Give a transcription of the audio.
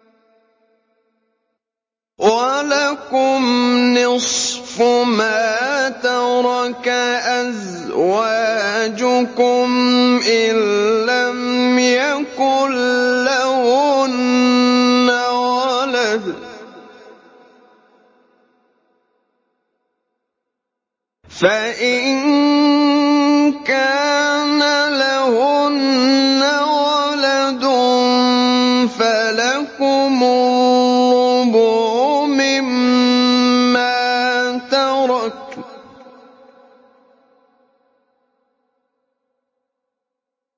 ۞ وَلَكُمْ نِصْفُ مَا تَرَكَ أَزْوَاجُكُمْ إِن لَّمْ يَكُن لَّهُنَّ وَلَدٌ ۚ فَإِن كَانَ لَهُنَّ وَلَدٌ فَلَكُمُ الرُّبُعُ مِمَّا تَرَكْنَ ۚ